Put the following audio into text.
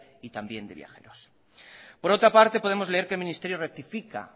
y también de viajeros por otra parte podemos leer que el ministerio rectifica